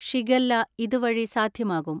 Shigella ഇതുവഴി സാധ്യമാകും.